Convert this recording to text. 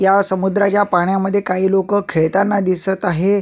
या समुद्राच्या पाण्यामध्ये काही लोक खेळताना दिसत आहे.